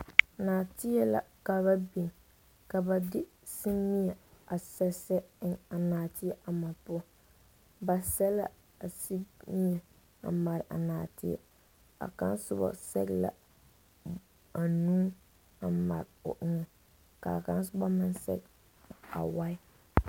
Nɔɔteɛ la ka ba biŋ ka ba semie a sɛsɛ eŋ a nɔɔteɛ ama poɔ ba sɛ la a semie a mare a nɔɔteɛ a kaŋa soba sɛ la anuu a mare o eŋɛ ka a kaŋa soba meŋ sɛ awae.